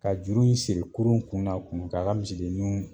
Ka juru in siri kurun kun n'a kun ka k'a misidennu